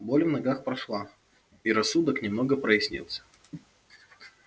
боль в ногах прошла и рассудок немного прояснился